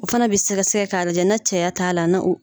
O fana bɛ sɛgɛ sɛgɛ k'a lajɛ na cɛya t'a la na o